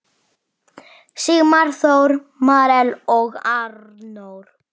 Sigmar Þór, Marel og Arnór.